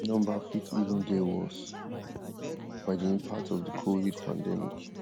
di number fit even dey worse by di impact of di covid pandemic